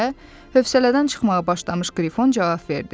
Deyə hövsələdən çıxmağa başlamış Qrifon cavab verdi.